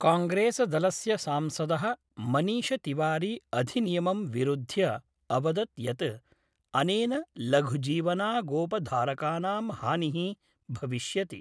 कांग्रेसदलस्य सांसदः मनीषतिवारी अधिनियमं विरुध्य अवदत् यत् अनेन लघुजीवनागोपधारकानां हानिः भविष्यति।